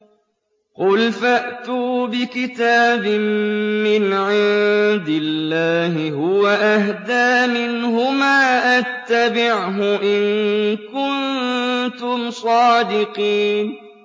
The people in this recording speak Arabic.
قُلْ فَأْتُوا بِكِتَابٍ مِّنْ عِندِ اللَّهِ هُوَ أَهْدَىٰ مِنْهُمَا أَتَّبِعْهُ إِن كُنتُمْ صَادِقِينَ